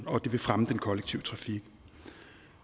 og det vil fremme den kollektive trafik